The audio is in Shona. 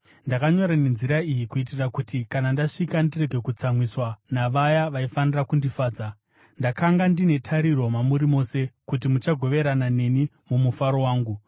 Ndakanyora nenzira iyi kuitira kuti kana ndasvika ndirege kutsamwiswa navaya vaifanira kundifadza. Ndakanga ndine tariro mamuri mose, kuti muchagoverana neni mumufaro wangu.